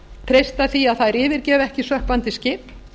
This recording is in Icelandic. treysta því að þær yfirgefi ekki sökkvandi skip